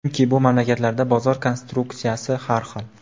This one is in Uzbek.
Chunki bu mamlakatlarda bozor konyukturasi har xil.